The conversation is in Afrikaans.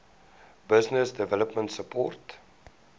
business development support